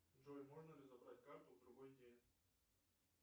джой можно ли забрать карту в другой день